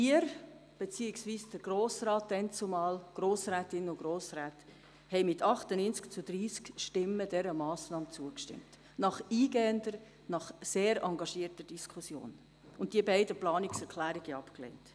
Die Grossrätinnen und Grossräte, die damals hier sassen, haben dieser Massnahme mit 98 zu 30 Stimmen zugestimmt, und zwar nach eingehender und sehr engagierter Diskussion, und die beiden Planungserklärungen abgelehnt.